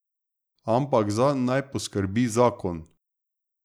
Ampak zanj naj poskrbi zakon.